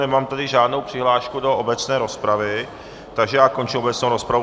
Nemám tady žádnou přihlášku do obecné rozpravy, takže já končím obecnou rozpravu.